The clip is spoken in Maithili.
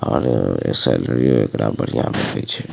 और अ सैलरी एकरा बढ़िया भेंटे छै।